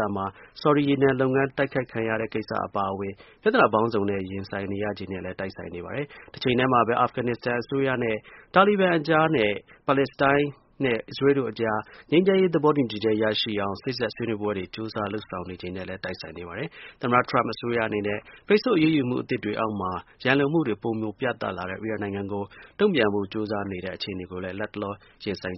သမှာ ဆော်ဒီ ရေနံလုပ်ငန်း တိုက်ခိုက်ခံရတဲ့ ကိစ္စ အပါအဝင် ပြဿနာ ပေါင်းစုံနဲ့ ရင်ဆိုင်နေရချိန်နဲ့လည်း တိုက်ဆိုင်နေပါတယ်။ တစ်ချိန်တည်းမှာပဲ အာဖဂန် နစ္စတန် အစိုးရနဲ့ တာလီဘန်အကြား၊ ပါလက်စတိုင်းနဲ့ အစ္စရေးလ်တို့ အကြား ငြိမ်းချမ်းရေး သဘောတူညီချက် ရရှိအောင် စေ့စပ် ဆွေးနွေးပွဲတွေ ကြိုးစား လုပ်ဆောင်နေချိန်နဲ့လည်း တိုက်ဆိုင်နေပါတယ်။ သမ္မတ Trump အစိုးရအနေနဲ့ ပိတ်ဆို့ အရေးယူမှု အသစ်တွေအောက်မှာ ရန်လိုမှုတွေ ပိုမို ပြသလာတဲ့ အီရန်နိုင်ငံကို တုန့်ပြန်ဖို့ ကြိုးစားနေရတဲ့ အခြေအနေကိုလည်း လတ်တလော ရင်ဆိုင်